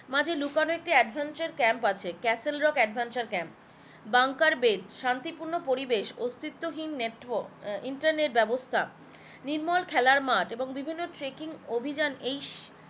মাঝে লুকানো একটি adventure capm castle rock adventure capm bunker bed শান্তি পূর্ণ পরিবেশ, অস্তিস্ত হীন নেওয়ার আহ ইন্টারনেট বেবস্তা নির্মল খেলার মাঠ এবং বিভিন্ন ট্র্যাকিং অভিযান